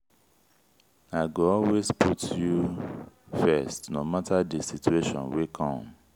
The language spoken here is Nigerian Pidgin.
i go always put you first no mata di situation wey come.